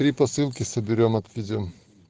три посылки соберём отвезём